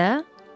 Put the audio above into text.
Siz də?